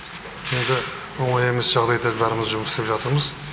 енді оңай емес жағдайда бәріміз жұмыс істеп жатырмыз